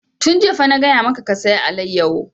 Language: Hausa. Tun jiya fa na gaya maka ka saya alayyafo!